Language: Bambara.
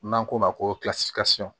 N'an k'o ma ko